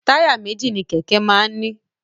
Táyà méjì ni kèké máa ń ni